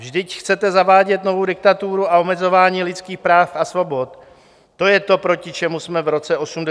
Vždyť chcete zavádět novou diktaturu a omezování lidských práv a svobod, to je to, proti čemu jsme v roce 1989 bojovali!